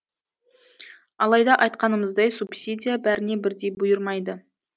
алайда айтқанымыздай субсидия бәріне бірдей бұйырмайды